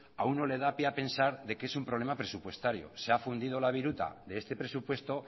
a uno le da pie a pensar de que es un problema presupuestario se ha fundido la viruta de este presupuesto